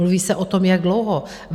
Mluví se o tom jak dlouho.